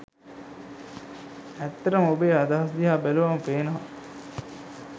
ඇත්තටම ඔබේ අදහස් දිහා බැලුවහම පේනව